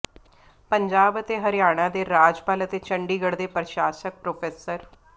ਪੰਜਾਬ ਅਤੇ ਹਰਿਆਣਾ ਦੇ ਰਾਜਪਾਲ ਅਤੇ ਚੰਡੀਗਡ਼੍ਹ ਦੇ ਪ੍ਰਸਾਸ਼ਕ ਪ੍ਰੋ